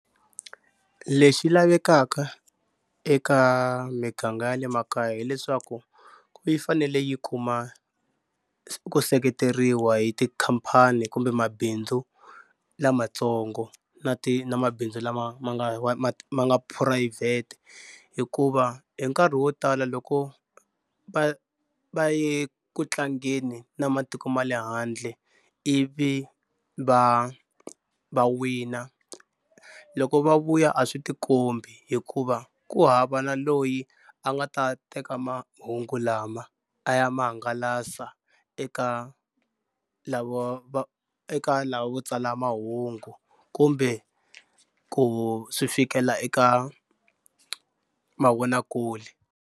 Lexi lavekaka eka miganga ya le makaya hileswaku yi fanele yi kuma ku seketeriwa hi tikhampani kumbe mabindzu lamatsongo na ti na mabindzu lama ma nga wa ma ma nga phurayivhete hikuva hi nkarhi wo tala loko va va ye ku tlangeni na matiko ma le handle ivi va va wina loko va vuya a swi ti kombi hikuva ku hava na loyi a nga ta teka mahungu lama a ya ma hangalasa eka lava va eka lava va tsala mahungu kumbe ku swi fikela eka mavonakule.